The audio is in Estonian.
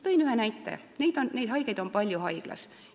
Toon ühe näite selliste haigete kohta, keda on haiglas palju.